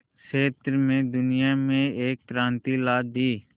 क्षेत्र में दुनिया में एक क्रांति ला दी